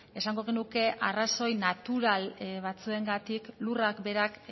esango genuke arrazoi natural batzuengatik lurrak berak